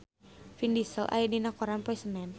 Vin Diesel aya dina koran poe Senen